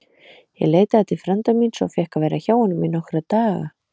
Ég leitaði til frænda míns og fékk að vera hjá honum í nokkra daga.